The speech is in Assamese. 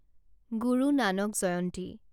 গুৰু নানাক জয়ন্তী